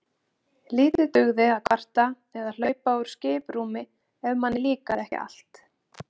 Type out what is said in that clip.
Lítið dugði að kvarta eða hlaupa úr skiprúmi ef manni líkaði ekki allt.